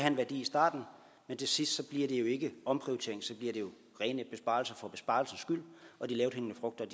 en værdi i starten men til sidst bliver det jo ikke omprioritering så bliver det jo rene besparelser for besparelsens skyld og de lavthængende frugter